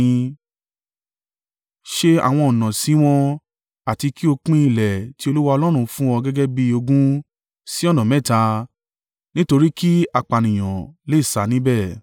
Ṣe àwọn ọ̀nà sí wọn àti kí o pín ilẹ̀ tí Olúwa Ọlọ́run fún ọ gẹ́gẹ́ bí ogún sí ọ̀nà mẹ́ta nítorí kí apànìyàn lè sá níbẹ̀.